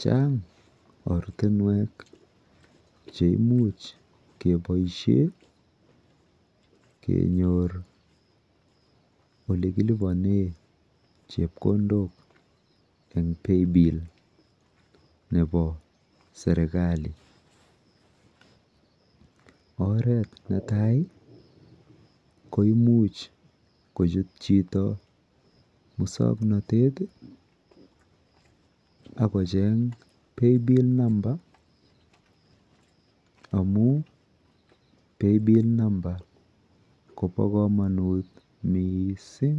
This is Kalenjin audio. Chang ortinwek cheimuch keboishe kenyor olikilipone chepkondok eng paybill nepo sertikali. Oret netai ko imuch kochut chito musoknotet akocheng paybill number amu paybill number kopo komonut miising